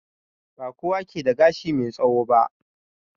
Ba kowa ke da gashi mai tsawo ba.